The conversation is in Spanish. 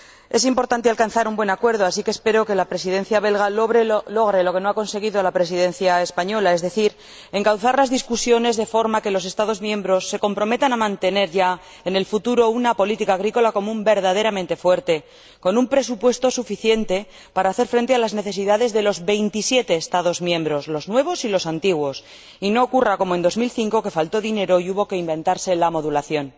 Es importante alcanzar un buen acuerdo, así que espero que la Presidencia belga logre lo que no ha conseguido la Presidencia española, es decir, encauzar las discusiones de forma que los Estados miembros se comprometan ya a mantener en el futuro una política agrícola común verdaderamente fuerte, con un presupuesto suficiente para hacer frente a las necesidades de los veintisiete Estados miembros, los nuevos y los antiguos, y no ocurra como en 2005, que faltó dinero y hubo que inventarse la modulación.